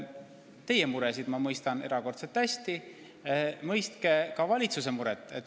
Teie muresid ma mõistan erakordselt hästi, mõistke teie ka valitsuse muresid.